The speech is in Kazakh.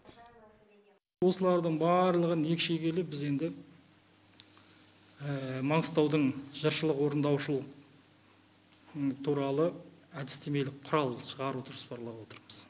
осылардың барлығын екшегейлі біз енді маңғыстаудың жыршылық орындаушылық туралы әдістемелік құрал шығаруды жоспарлап отырмыз